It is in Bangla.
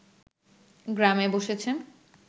গ্রামে বসেছে